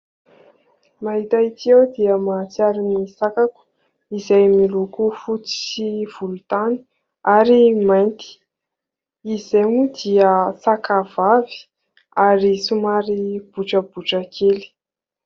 Mahita ity aho dia mahatsiaro ny sakako izay miloko fotsy sy volontany ary mainty. Izy izay moa dia sakavavy ary somary botrabotra kely.